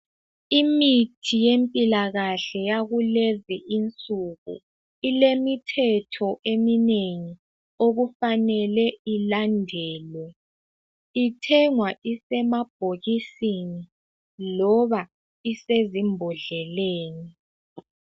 Imithi yempilakahle yakulezi nsuku ilemithetho eminengi okufanele ilandelwe ithengwa isemabhokisini loba isezimbodleleni.